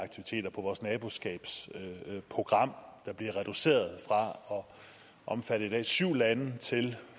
i vores naboskabsprogram der bliver reduceret fra at omfatte i dag syv lande til